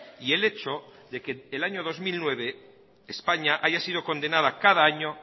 y el hecho de que el año dos mil nueve españa haya sido condenada cada año